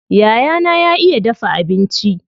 Yayana ya iya dafa abinci.